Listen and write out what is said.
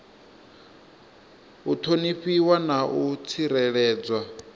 u ṱhonifhiwa na u tsireledzwa